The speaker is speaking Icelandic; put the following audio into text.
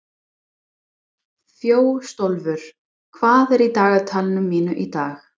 Þjóstólfur, hvað er í dagatalinu mínu í dag?